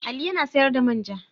Ali ya na sayar da man ja.